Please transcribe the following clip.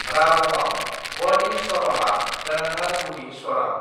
रागमआव वडी स्वरमआ गोनांथार गुदि स्वरम।